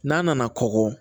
N'a nana kɔgɔ